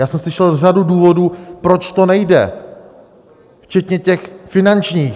Já jsem slyšel řadu důvodů, proč to nejde, včetně těch finančních.